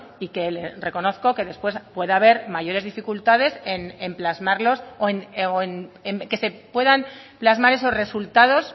y que le reconozco que después pueda haber mayores dificultades en plasmarlos o en que se puedan plasmar esos resultados